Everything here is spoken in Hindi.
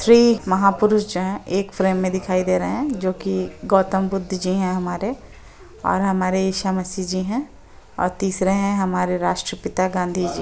थ्री महापुरुष जो है एक फ्रेम में दिखाई दे रहे है जो कि गौतम बद्ध जी है हमारे और हमारे ईसा मसीह जी है और तीसरे है हमारे राष्ट्रपिता गाँधीजी।